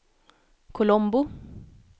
Colombo